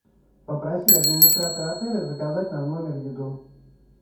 попроси администратора отеля заказать нам в номер еду